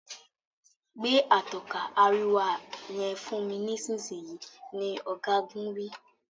Gbé Atọ́ka àríwá yen fún mí nísìsiyìí! ní ogagun wí.